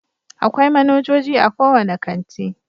Akwai manajoji a kowane kanti.